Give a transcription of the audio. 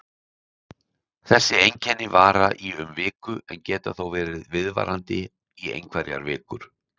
Þessi einkenni vara í um viku en geta þó verið viðvarandi í einhverjar vikur.